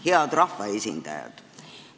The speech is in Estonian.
Head rahvaesindajad!